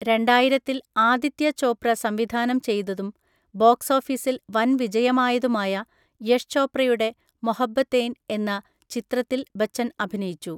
രണ്ടായിരത്തിൽ ആദിത്യ ചോപ്ര സംവിധാനം ചെയ്തതും ബോക്സ് ഓഫീസിൽ വൻവിജയമായതുമായ യഷ് ചോപ്രയുടെ മൊഹബ്ബതേൻ എന്ന ചിത്രത്തിൽ ബച്ചൻ അഭിനയിച്ചു.